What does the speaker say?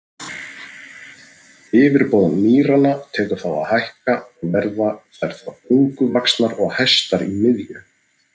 Yfirborð mýranna tekur þá að hækka og verða þær þá bunguvaxnar og hæstar í miðju.